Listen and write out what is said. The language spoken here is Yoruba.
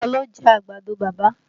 Taa ló jẹ́ àgbàdo bàbá?